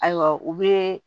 Ayiwa u bɛ